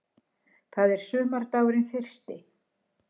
Það er sumardagurinn fyrsti.